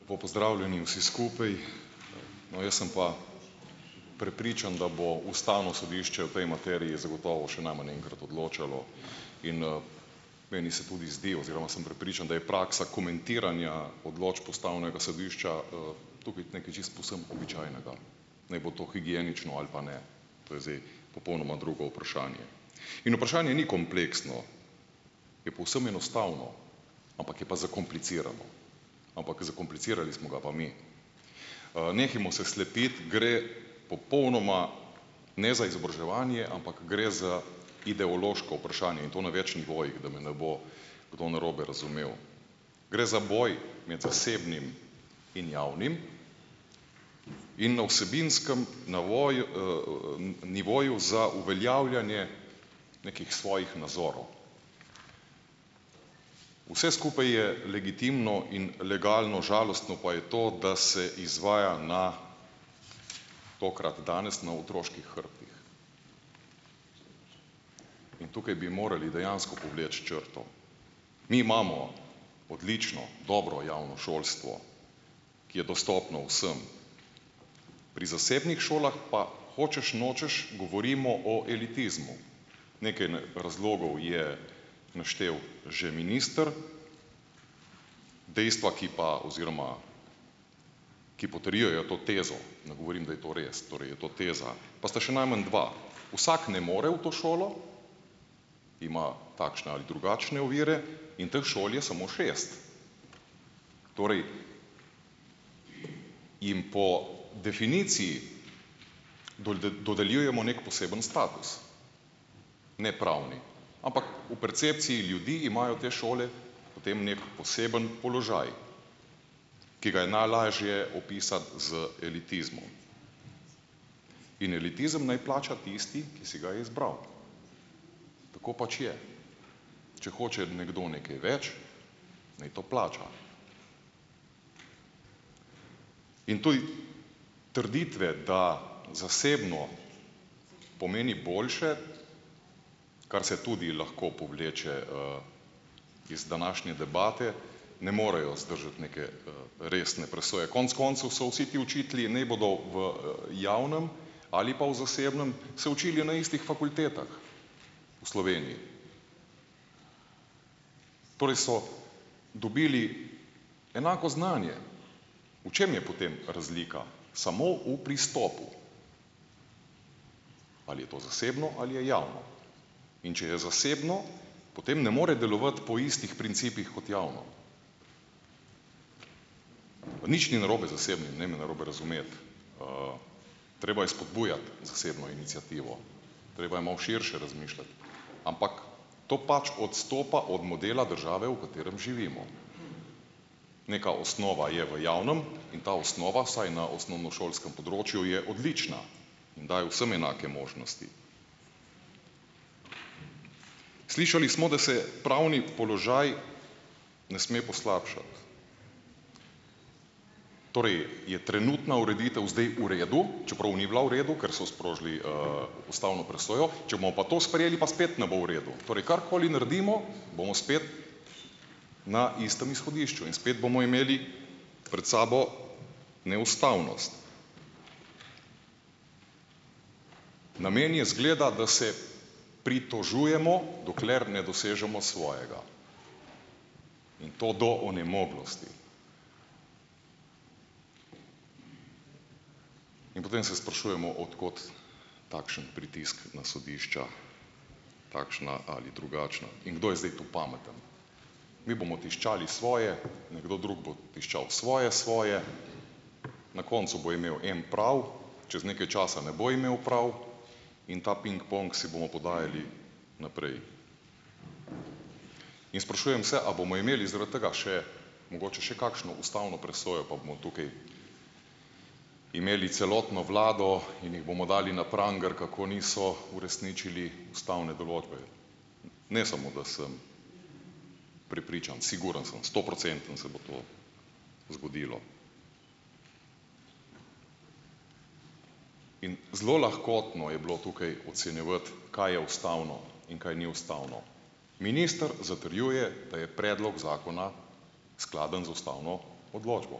Lepo pozdravljeni vsi skupaj! No, jaz sem pa prepričan, da bo ustavno sodišče v tej materiji zagotovo še najmanj enkrat odločalo in, meni se tudi zdi oziroma sem prepričan, da je praksa komentiranja odločb ustavnega sodišča, tukaj nekaj čisto povsem običajnega, naj bo to higienično ali pa ne. To je zdaj popolnoma drugo vprašanje. In vprašanje ni kompleksno, je povsem enostavno, ampak je pa zakomplicirano, ampak zakomplicirali smo ga pa mi. Nehajmo se slepiti, gre popolnoma, ne za izobraževanje, ampak gre za ideološko vprašanje in to na več nivojih, da me ne bo kdo narobe razumel. Gre za boj med zasebnim in javnim in na vsebinskem navoju, nivoju za uveljavljanje nekih svojih nazorov. Vse skupaj je legitimno in legalno, žalostno pa je to, da se izvaja na tokrat danes na otroških hrbtih in tukaj bi morali dejansko povleči črto. Mi imamo odlično, dobro javno šolstvo, ki je dostopno vsem, pri zasebnih šolah pa hočeš nočeš govorimo o elitizmu. Nekaj razlogov je naštel že minister, dejstva, ki pa oziroma ki potrjujejo to tezo - ne govorim, da je to res, torej je to teza, pa sta še najmanj dve. Vsak ne more v to šolo, ima takšne ali drugačne ovire in teh šol je samo šest. Torej jim po definiciji dodeljujemo neki poseben status, nepravni, ampak v percepciji ljudi imajo te šole potem neki poseben položaj, ki ga je najlažje opisati z elitizmom in elitizem naj plača tisti, ki si ga je izbral. Tako pač je. Če hoče nekdo nekaj več, naj to plača. In tudi trditve, da zasebno pomeni boljše, kar se tudi lahko povleče, iz današnje debate, ne morejo zdržati neke, resne presoje. Konec koncev so vsi te učitelji, ne bodo v javnem ali pa v zasebnem, se učili na istih fakultetah v Sloveniji. Torej so dobili enako znanje. V čem je potem razlika? Samo v pristopu? Ali je to zasebno ali je javno? In če je zasebno, potem ne more delovati po istih principih kot javno. Nič ni narobe z zasebnim, ne me narobe razumeti. treba je spodbujati zasebno iniciativo, treba je malo širše razmišljati, ampak to pač odstopa od modela države, v katerem živimo. Neka osnova je v javnem in ta osnova vsaj na osnovnošolskem področju je odlična in daje vsem enake možnosti. Slišali smo, da se pravni položaj ne sme poslabšati. Torej je trenutna ureditev zdaj v redu, čeprav ni bila v redu, ker so sprožili, ustavno presojo, če bomo pa to sprejeli, pa spet ne bo v redu. Torej karkoli naredimo, bomo spet na istem izhodišču in spet bomo imeli pred sabo neustavnost. Namen je, izgleda, da se pritožujemo, dokler ne dosežemo svojega. In to do onemoglosti. In potem se sprašujemo, od kod takšen pritisk na sodišča, takšna ali drugačna. In kdo je zdaj tu pameten. Mi bomo tiščali svoje, nekdo drug bo tiščal svoje, svoje, na koncu bo imel en prav, čez nekaj časa na bo imel prav in ta pingpong si bomo podajali naprej. In sprašujem se, a bomo imeli zaradi tega še mogoče še kakšno ustavno presojo pa bomo tukaj imeli celotno vlado in jih bomo dali na pranger, kako niso uresničili ustavne določbe. Ne samo, da sem prepričan, sigurno sem, stoprocentno se bo to zgodilo. In zelo lahkotno je bilo tukaj ocenjevati, kaj je ustavno in kaj ni ustavno. Minister zatrjuje, da je predlog zakona skladen z ustavno odločbo.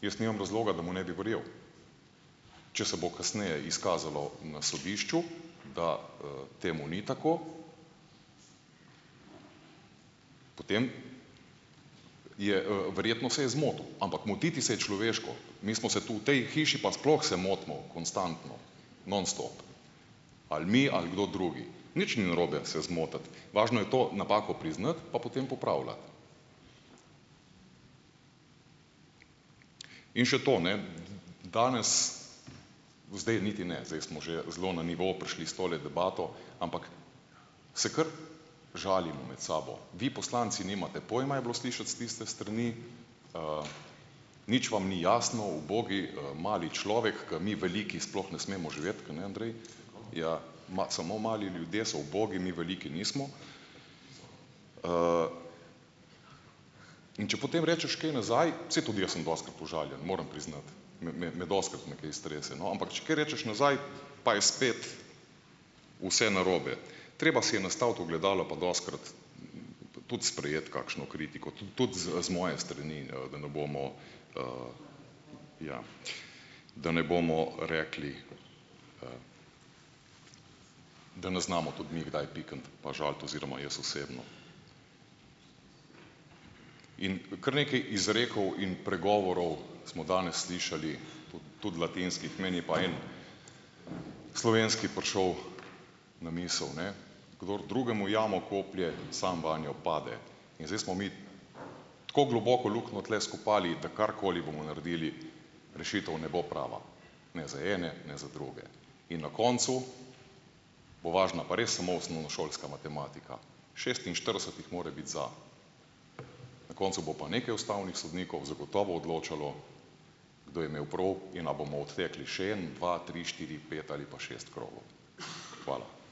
Jaz nimam razloga, da mu ne bi verjel. Če se bo kasneje izkazalo na sodišču, da, temu ni tako, potem je, verjetno se je zmotil, ampak motiti se je človeško. Mi smo se, tu v tej hiši pa sploh motimo konstantno non stop. Ali mi, ali kdo drugi. Nič ni narobe se zmotiti, važno je to napako priznati pa potem popravljati. In še to. Ne. Danes, zdaj niti ne, zdaj smo že zelo na nivo prišli s tole debato, ampak se kar žalimo med sabo. "Vi poslanci nimate pojma," je bilo slišati s tiste strani, "nič vam ni jasno, ubogi, mali človek, ki mi veliki sploh ne smemo živeti, kajne, Andrej, ja samo mali ljudje so ubogi, mi veliki nismo." In če potem rečeš kaj nazaj, saj tudi jaz sem dostikrat užaljen, moram priznati, me, me dostikrat me kaj strese, no. Ampak če kaj rečeš nazaj, pa je spet vse narobe. Treba si je nastaviti ogledalo pa dostikrat tudi sprejeti kakšno kritiko, tudi z moje strani, da ne bomo, ja, da ne bomo rekli, da ne znamo tudi mi kdaj pikniti pa žaliti oziroma jaz osebno. In kar nekaj izrekov in pregovorov smo danes slišali, tudi latinskih, meni je pa en slovenski prišel na misel, ne: "Kdor drugemu jamo koplje, samo vanjo pade." In zdaj smo mi tako globoko luknjo tule skopali, da karkoli bomo naredili, rešitev ne bo prava ne za ene, ne za druge. In na koncu bo važna pa res samo osnovnošolska matematika. Šestinštirideset jih mora biti za. Na koncu bo pa nekaj ustavnih sodnikov zagotovo odločalo kdo je imel prav in a bomo odtekli še en, dva, tri, štiri, pet ali pa šest krogov. Hvala.